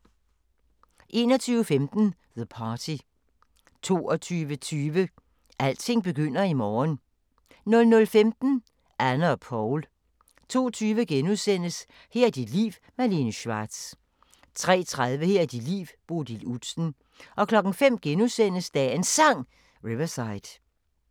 21:15: The Party 22:20: Alting begynder i morgen 00:15: Anne og Paul 02:20: Her er dit liv – Malene Schwartz * 03:30: Her er dit liv – Bodil Udsen 05:00: Dagens Sang: Riverside *